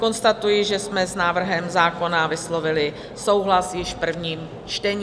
Konstatuji, že jsme s návrhem zákona vyslovili souhlas již v prvním čtení.